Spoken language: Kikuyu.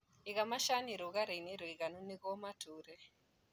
Iga macani rũgarĩinĩ mũiganu nĩguo matũre.